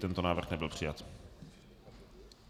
Tento návrh nebyl přijat.